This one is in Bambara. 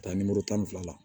Taa nimoro tan ni fila la